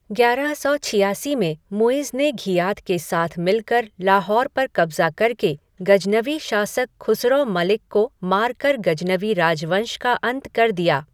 ग्यारह सौ छियासी में मुइज़ ने घियात के साथ मिलकर लाहौर पर कब्ज़ा कर के, गजनवी शासक खुसरौ मलिक को मार कर गजनवी राजवंश का अंत कर दिया।